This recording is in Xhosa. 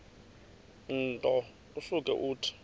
nto usuke uthi